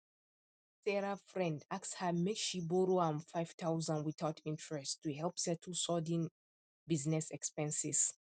sarah friend ask her make she borrow am five thousand without interest to help settle sudden business expenses